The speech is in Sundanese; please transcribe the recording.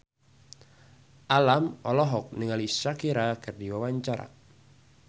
Alam olohok ningali Shakira keur diwawancara